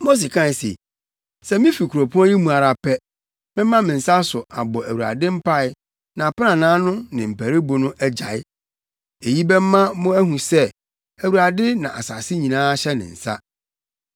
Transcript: Mose kae se, “Sɛ mifi kuropɔn yi mu ara pɛ a, mɛma me nsa so abɔ Awurade mpae na aprannaa no ne mparuwbo no agyae. Eyi bɛma mo ahu sɛ Awurade na asase nyinaa hyɛ ne nsa.